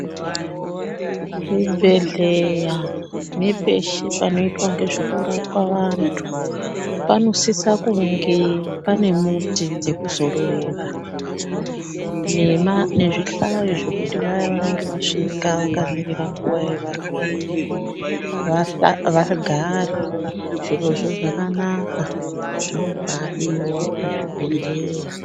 Zvibhedhleya nepeshe panoitwe ngezvekurapwa vantu, panosisa kunge panemuti dzekuzororera nezvihlayo zvekuti vaya vanenge vasvika vakamirira nguva yevarwere vagare. Zvirozvo zvakanaka, zvobaadiwa pazvibhedhleya.